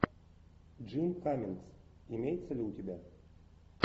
джим каммингс имеется ли у тебя